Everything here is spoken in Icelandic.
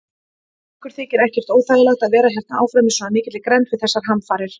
Ykkur þykir ekkert óþægilegt að vera hérna áfram í svona mikilli grennd við þessar hamfarir?